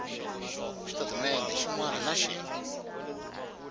xitatimendhe xin wana na xin